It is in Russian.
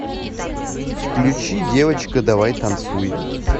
включи девочка давай танцуй